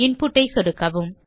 input ஐ சொடுக்கவும்